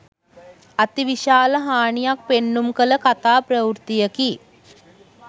අති විශාල හානියක් පෙන්නුම් කළ කතා ප්‍රවෘත්තියකි.